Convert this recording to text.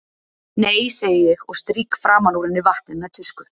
Nei, segi ég og strýk framan úr henni vatnið með tusku.